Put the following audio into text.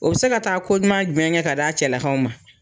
O bɛ se ka taa ko ɲuman jumɛn kɛ ka di a cɛla kaw ma.